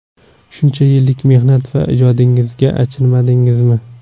Shuncha yillik mehnat va ijodingizga achinmadingizmi?